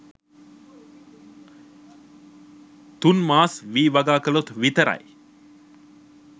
තුන්මාස් වී වගා කලොත් විතරයි